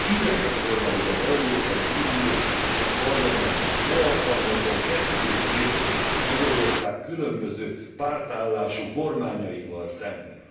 Ideje volna, hogy az Európai Unió és a Parlament ne alkalmazzon kettős mércét Magyarország különböző pártállású kormányaival szemben.